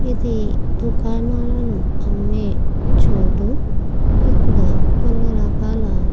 ఇది ఒక దూకణాలను అమ్మే చోటు ఇక్కడ కొన్ని రకాల --